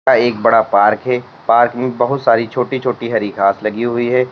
यह एक बड़ा पार्क है पार्क में बहुत सारी छोटी छोटी हरि घास लगी हुई है।